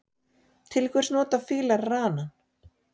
Til hvers nota fílar ranann?